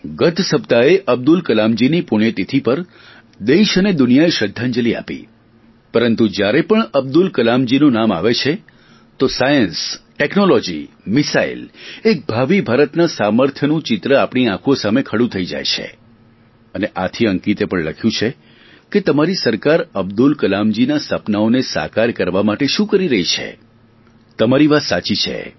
ગત સપ્તાહે અબ્દુલ કલામજીની પુણ્યતિથિ પર દેશ અને દુનિયાએ શ્રધ્ધાંજલિ આપી પરંતુ જ્યારે પણ અબ્દુલ કલામજીનું નામ આવે છે તો સાયન્સ ટેકનોલોજી મિસાઇલ એક ભાવિ ભારતના સામર્થ્યનું ચિત્ર આપણી આંખો સામે ખડું થઈ જાય છે અને આથી અંકિતે પણ લખ્યુ છે કે તમારી સરકાર અબ્દુલ કલામજીના સપનાઓને સાકાર કરવા માટે શું કરી રહી છે તમારી વાત સાચી છે